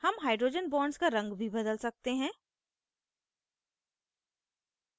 हम hydrogen bonds का रंग भी बदल सकते हैं